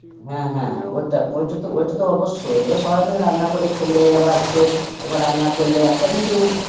হ্যাঁ হ্যাঁ. ওটা ওটা ওইটা তো অবশ্যই এবার সবাই মিলে রান্না করে খেলে আবার একটু, তোমার রান্না করলে একটা কিন্তু,